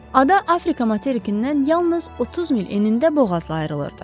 Ada Afrika materikindən yalnız 30 mil enində boğazla ayrılırdı.